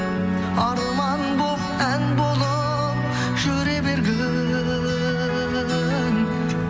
арман болып ән болып жүре бергін